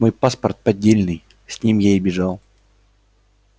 мой паспорт поддельный с ним я и бежал